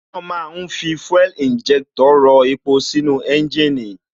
Wón ma ń fi fuel injector rọ epo sínú ẹ́ńjìnì